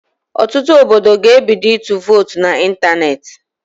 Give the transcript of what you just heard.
Ọtụtụ obodo ga-ebido ịtụ votu na ịntanetị